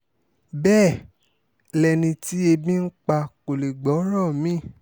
bẹ́ẹ̀ lẹni tí ebi ń pa kó lè gbọ́rọ̀ mí-ín